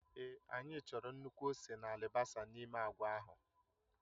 Èé anyị chọrọ nnukwu ose na alibasa n'ime agwa ahụ